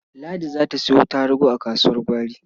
Ladi za ta sayo tarugu a kasuwar gwari.